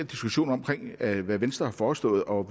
diskussion om hvad venstre har foreslået og